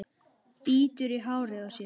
Bítur í hárið á sér.